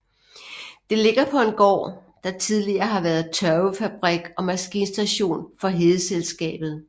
Det ligger på en gård der tidligere har været tørvefabrik og maskinstation for Hedeselskabet